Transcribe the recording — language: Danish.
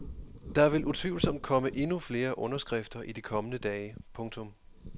Der vil utvivlsomt komme endnu flere underskrifter i de kommende dage. punktum